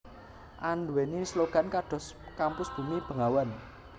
anduwèni slogan kados Kampus Bumi Bengawan